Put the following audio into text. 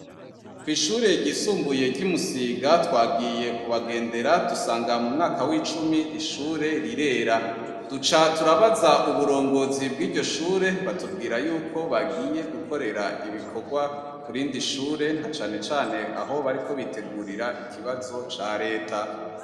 Kwishure ryisumbuye ryimusiga twagiye kubagendera dusanga mumwaka wicumi ishure rirera duca turabaza uburongozi bwiryoshure batubwira yuko bagiye gukorera ibikorwa kurindi shure nacane cane aho bariko bitegurira ikibazo ca reta